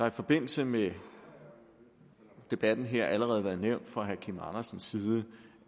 i forbindelse med debatten her allerede nævnt af herre kim andersen